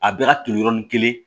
A bɛ ka turu yɔrɔnin kelen